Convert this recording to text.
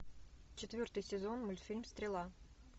четвертый сезон мультфильм стрела